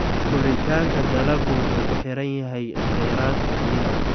Koritaanka dalaggu wuxuu ku xiran yahay kheyraadka biyaha.